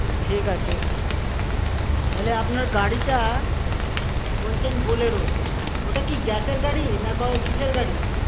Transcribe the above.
ঠিক আছে। তাহলে আপনার গাড়িটা~ বলছেন bolero ওটা কি gas এর গাড়ি না ক~ কিসের গাড়ি?